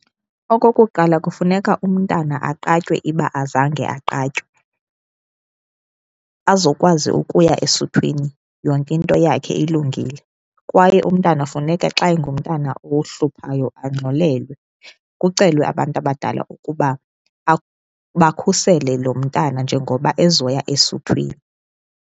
Okokuqala, kufuneka umntana aqatywe uba azange aqatywe azokwazi ukuya esuthwini yonke into yakhe ilungile. Kwaye umntana funeka xa engumntana ohluphayo angxolelwe kucelwe abantu abadala ukuba bakhusele lo mntana njengoba ezoya esuthwini.